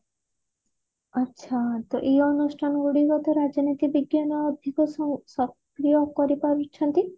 ଆଛା ତ ଏଇ ଅନୁଷ୍ଠାନ ଗୁଡିକ ତ ରାଜନୀତି ବିଜ୍ଞାନ ଅଧିକ ସୁ ସକ୍ରିୟ କରିପାରୁଛନ୍ତି